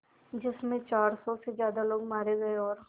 जिस में चार सौ से ज़्यादा लोग मारे गए और